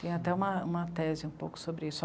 Tem até uma, uma tese um pouco sobre isso.